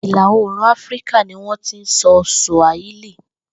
Ìlà oòrùn Áfíríkà ni wó̩n ti ń so̩ Sùàhílì